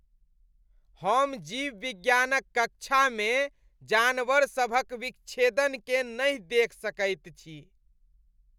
हम जीवविज्ञानक कक्षामे जानवरसभक विच्छेदनकेँ नहि देखि सकैत छी।